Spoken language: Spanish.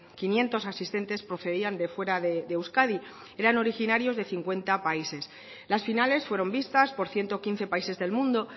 quinientos asistentes procedían de fuera de euskadi eran originarios de cincuenta países las finales fueron vistas por ciento quince países del mundo